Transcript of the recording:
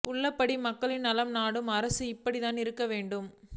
உள்ளபடியே மக்களின் நலம் நாடும் அரசு இப்படித்தான் இருக்க வேண்டும்